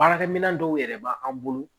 Baarakɛminɛn dɔw yɛrɛ b'an bolo